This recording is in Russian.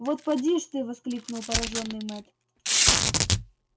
вот поди ж ты воскликнул поражённый мэтт